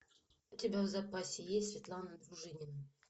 у тебя в запасе есть светлана дружинина